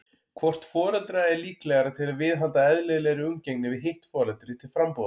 Hvort foreldra er líklegra til að viðhalda eðlilegri umgengni við hitt foreldri til frambúðar?